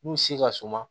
N'u si ka suma